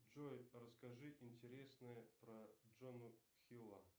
джой расскажи интересное про джону хилла